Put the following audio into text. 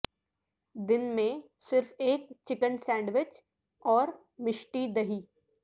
دن میں صرف ایک چکن سینڈویچ اور میشٹی دہی